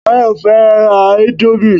Bayo fẹ́ ra indomie